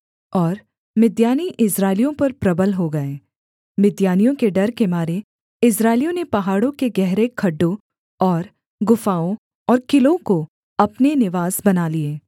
और मिद्यानी इस्राएलियों पर प्रबल हो गए मिद्यानियों के डर के मारे इस्राएलियों ने पहाड़ों के गहरे खड्डों और गुफाओं और किलों को अपने निवास बना लिए